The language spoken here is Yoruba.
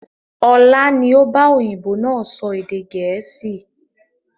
Ọlá ni ó ba òyìnbó náà sọ èdè gẹ̀ẹ́sì